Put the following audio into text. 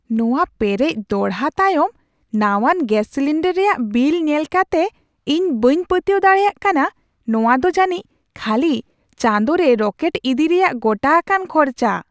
ᱱᱚᱶᱟ ᱯᱮᱨᱮᱡ ᱫᱚᱲᱦᱟ ᱛᱟᱭᱚᱢ ᱱᱟᱣᱟᱱ ᱜᱮᱥ ᱥᱤᱞᱤᱱᱰᱟᱨ ᱨᱮᱭᱟᱜ ᱵᱤᱞ ᱧᱮᱞ ᱠᱟᱛᱮ ᱤᱧ ᱵᱟᱹᱧ ᱯᱟᱹᱛᱣᱟᱹᱣ ᱫᱟᱲᱮᱭᱟᱜ ᱠᱟᱱᱟ ᱾ᱱᱚᱶᱟᱫᱚ ᱡᱟᱹᱱᱤᱡ ᱠᱷᱟᱹᱞᱤ ᱪᱟᱸᱫᱳᱨᱮ ᱨᱚᱠᱮᱴ ᱤᱫᱤ ᱨᱮᱭᱟᱜ ᱜᱚᱴᱟ ᱟᱠᱟᱱ ᱠᱷᱚᱨᱪᱟ ᱾